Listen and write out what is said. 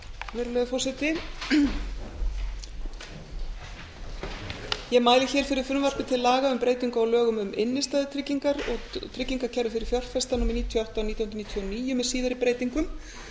virðulegi forseti ég mæli fyrir frumvarpi til laga um breytingu á lögum um innstæðutryggingar og tryggingakerfi fyrir fjárfesta númer níutíu og átta nítján hundruð níutíu og níu með síðari breytingum